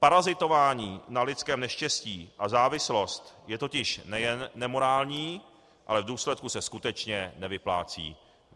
Parazitování na lidském neštěstí a závislost je totiž nejen nemorální, ale v důsledku se skutečně nevyplácí.